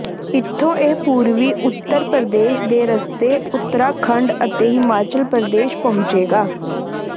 ਇੱਥੋਂ ਇਹ ਪੂਰਬੀ ਉੱਤਰ ਪ੍ਰਦੇਸ਼ ਦੇ ਰਸਤੇ ਉਤਰਾਖੰਡ ਅਤੇ ਹਿਮਾਚਲ ਪ੍ਰਦੇਸ਼ ਪਹੁੰਚੇਗਾ